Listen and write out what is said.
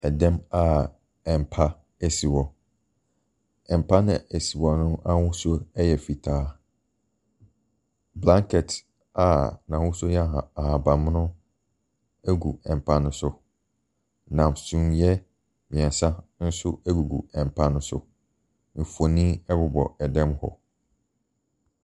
Ɛdan mu a mpa si hɔ, mpa no a ɛsi hɔ no ahosuo yɛ fitaa. Blanket a n'ahosuo yɛ ahabammono gu mpa no so, na sumiiɛ mmeɛnsa nso gugu mpa no so. Mfonin bobɔ dan mu hɔ.